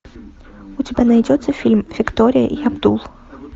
у тебя найдется фильм виктория и абдул